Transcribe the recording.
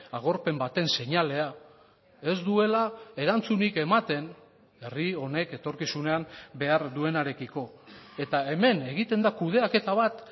agorpen baten seinalea ez duela erantzunik ematen herri honek etorkizunean behar duenarekiko eta hemen egiten da kudeaketa bat